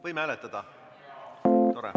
Võime hääletada?